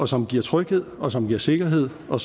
som giver tryghed og som giver sikkerhed og